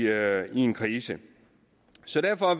er en krise så derfor